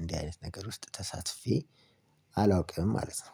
እንዲህ አይነት ነገር ውስጥ ተሳትፌ አላውቅም ማለት ነው